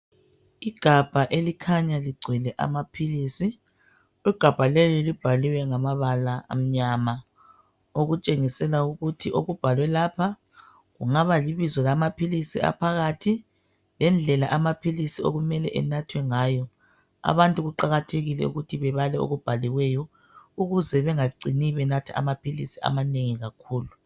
Igabha elikhanya ligcwele amaphilisi. Igabha leli libhaliwe ngamabala amnyama okutshengisela ukuthi okubhalwe lapha, kungaba libizo lamaphilisi aphakathi lendlela amaphilisi okumele enathwe ngayo. Abantu kuqakathekile ukuthi bebale okubhaliweyo ukuze bengacini benatha amaphilisi amanengi kakhulu.